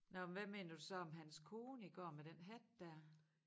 Nåh men hvad mener du så om hans kone i går med den hat der